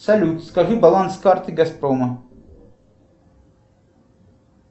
салют скажи баланс карты газпрома